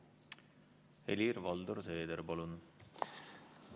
Helir-Valdor Seeder, palun!